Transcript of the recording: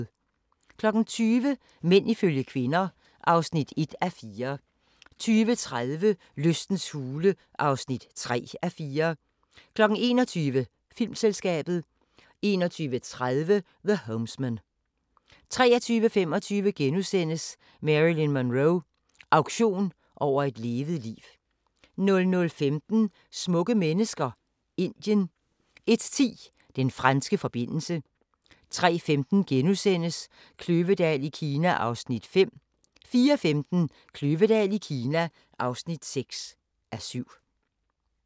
20:00: Mænd ifølge kvinder (1:4) 20:30: Lystens hule (3:4) 21:00: Filmselskabet 21:30: The Homesman 23:25: Marilyn Monroe – auktion over et levet liv * 00:15: Smukke mennesker – Indien 01:10: Den franske forbindelse 03:15: Kløvedal i Kina (5:7)* 04:15: Kløvedal i Kina (6:7)